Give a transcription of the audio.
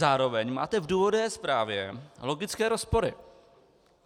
Zároveň máte v důvodové zprávě logické rozpory.